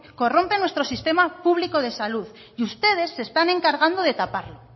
corrompe nuestro sistema público de salud y ustedes se están encargando de taparlo